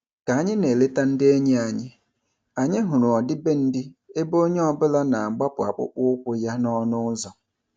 Ka anyị na-eleta ndị enyi anyị, anyị hụrụ ọdịbendị ebe onye ọbụla na-agbapụ akpụkpọ ụkwụ ya n'ọnụ ụzọ.